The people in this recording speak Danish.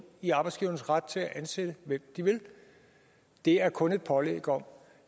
i arbejdsgivernes ret til at ansætte hvem de vil det er kun et pålæg om